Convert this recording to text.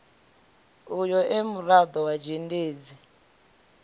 uyo e murado wa dzhendedzi